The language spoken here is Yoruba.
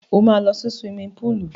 Ó máa lọ sí suwimi púùlù.